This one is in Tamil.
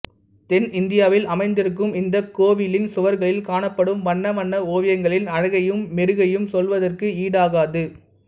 தென் இந்தியாவில் அமைந்திருக்கும் இந்தக் கோவிலின் சுவர்களில் காணப்படும் வண்ண வண்ண ஓவியங்களின் அழகையும் மெருகையும் சொல்வதற்கு ஈடாகாது